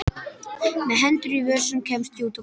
Með hendur í vösum kemst ég út á götuna.